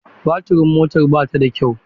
Baturin motar ba ta da kyau.